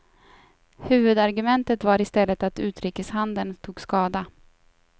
Huvudargumentet var i stället att utrikeshandeln tog skada.